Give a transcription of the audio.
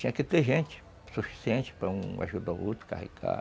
Tinha que ter gente suficiente para um ajudar o outro, carregar.